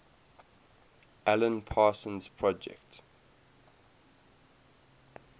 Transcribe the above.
alan parsons project